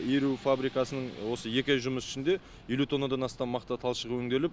иіру фабрикасының осы екі ай жұмыс ішінде елу тоннадан астам мақта талшығы өңделіп